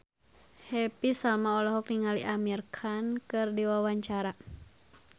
Happy Salma olohok ningali Amir Khan keur diwawancara